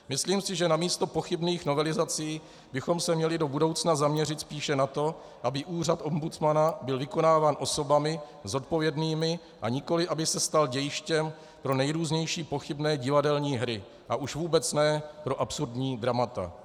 Myslím si, že na místo pochybných novelizací bychom se měli do budoucna zaměřit spíše na to, aby úřad ombudsmana byl vykonáván osobami zodpovědnými, a nikoliv aby se stal dějištěm pro nejrůznější pochybné divadelní hry a už vůbec ne pro absurdní dramata.